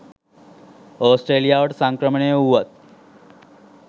ඕස්ට්‍රේලියාවට සංක්‍රමණය වූවත්